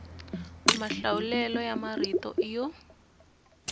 mahlawulelo ya marito i yo